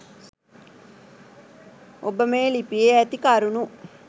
ඔබ මේ ලිපියේ ඇති කරුණු